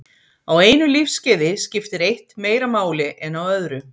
Á einu lífskeiði skiptir eitt meira máli en á öðru.